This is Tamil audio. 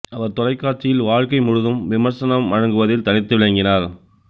அவர் தொலைக்காட்சியில் வாழ்க்கை முழுதும் விமர்சனம் வழங்குவதில் தனித்து விளங்கினார்